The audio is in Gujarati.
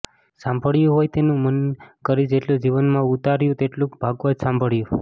સાંભળ્યું હોય તેનું મનન કરી જેટલું જીવનમાં ઉતાર્યું તેટલું ભાગવત સાંભળ્યું